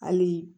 Hali